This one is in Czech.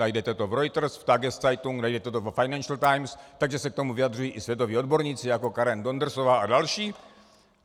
Najdete to v Reuters, v Tageszeitung, najdete to ve Financial Times, takže se k tomu vyjadřují i světoví odborníci jako Karen Dondersová a další.